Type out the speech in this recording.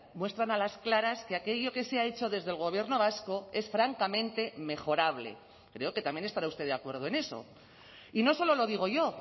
muestran a las claras que aquello que se ha hecho desde el gobierno vasco es francamente mejorable creo que también estará usted de acuerdo en eso y no solo lo digo yo